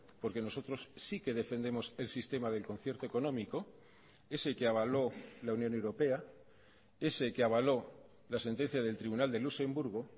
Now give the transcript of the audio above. porque nosotros sí que defendemos el sistema del concierto económico ese que avaló la unión europea ese que avaló la sentencia del tribunal de luxemburgo